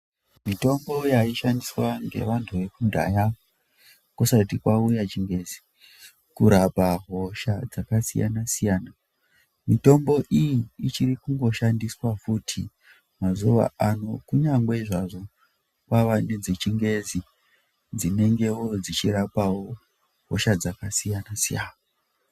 Mitombo yaishandiswa ngevantu vekudhaya kusati kwauya chingezi kurapa hosha dzakasiyana siyana mitombo iyi ichiri kungoshandiswa futi mazuwa ano kunyange hazvo kwava nedzechingezi dzinengewo dzichirapawo hosha dzakasiyana siyana.